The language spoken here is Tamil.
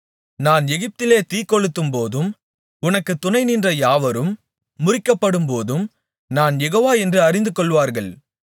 நான் எகிப்திலே தீக்கொளுத்தும்போதும் உனக்குத் துணைநின்ற யாவரும் முறிக்கப்படும்போதும் நான் யெகோவா என்று அறிந்துகொள்வார்கள்